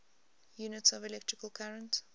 units of electrical current